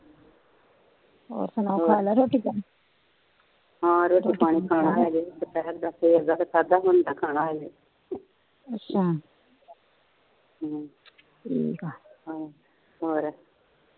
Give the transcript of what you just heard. ਹਾ ਰੋਟੀ ਪਾਣੀ ਖਾ ਲਿਆ ਦੁਪਿਹਰ ਦਾ ਖਾਣਾ ਹਜੇ ਅੱਛਾ ਹਮ ਠੀਕ ਹਮ ਹੋਰ